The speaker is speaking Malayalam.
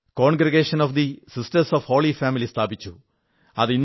congregation of the sisters of the holy family സ്ഥാപിച്ചു